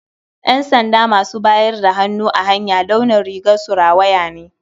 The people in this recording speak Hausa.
Ƴansanda masu bayar da hannu a hanya launin rigarsu rawaya ne.